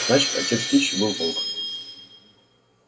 значит отец кичи был волк